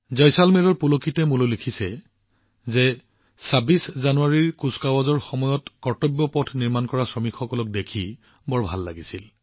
জয়সালমেৰৰ পুলকিতে মোলৈ লিখিছে যে ২৬ জানুৱাৰীৰ কুচকাৱাজৰ সময়ত কৰ্তব্য পথৰ নিৰ্মাণ শ্ৰমিকসকলক দেখি বৰ ভাল লাগিছিল